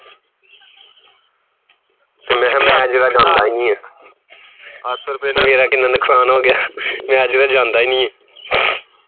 ਜਿਹੜਾ ਜਾਂਦਾ ਈ ਨੀ ਮੇਰਾ ਕਿੰਨਾ ਨੁਕਸਾਨ ਹੋਣ ਦਿਆ ਮੈਂ ਜਿਹੜਾ ਜਾਂਦਾ ਈ ਨਹੀਂ